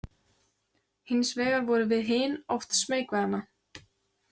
Hins vegar vorum við hin oft smeyk við hana.